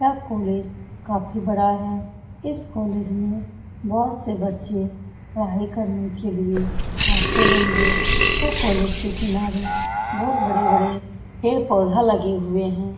यह कॉलेज काफी बड़ा है इस कॉलेज में बहुत से बच्चे पढ़ाई करने के लिए आते होंगे यह कॉलेज के किनारे बहुत बड़े-बड़े पेड़-पौधा लगे हुए है।